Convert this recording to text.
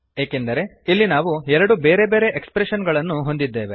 ಏಕೆಂದರೆ ಇಲ್ಲಿ ನಾವು ಎರಡು ಬೇರೆ ಬೇರೆ ಎಕ್ಸ್ಪ್ರೆಶನ್ ಗಳನ್ನು ಹೊಂದಿದ್ದೇವೆ